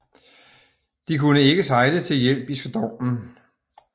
De kunne ikke sejle til hjælp i stormen